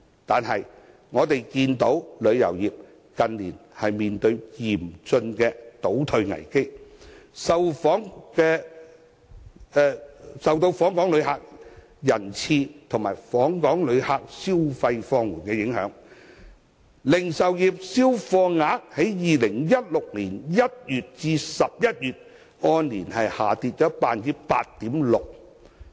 可是，我們看到旅遊業近年面對嚴峻的倒退危機，受到訪港旅客人次及訪港旅客消費放緩的影響，零售業銷貨額在2016年1月至11月按年下跌 8.6%。